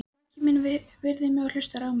Maki minn virðir mig og hlustar á mig.